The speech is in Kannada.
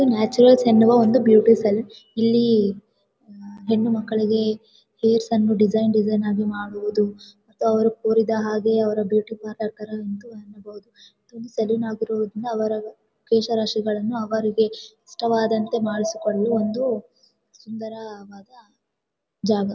ನ್ಯಾಚುರಲ್ಸ್ ಎನ್ನುವ ಒಂದು ಬಿವುಟಿ ಸೆಲ್ ಇಲ್ಲಿ ಹೆಣ್ಣು ಮಕ್ಕಳಿಗೆ ಹೇರ್ಸ್ ಅನ್ನು ಡಿಸೈನ್ ಡಿಸೈನ್ ಆಗಿ ಮಡುವುದು ಅವರು ಕೋರಿದ ಹಾಗೆ ಅವ್ರ ಅವರ ಕೇಶ ರಾಶಿಗಳನ್ನೂ ಅವರಿಗೆ ಇಷ್ಟ ವಾಗುವಂತೆ ಮಾಡಿಸಿಕೊಳ್ಳುವ ಒಂದು ಸುಂದರವಾದ ಜಾಗ .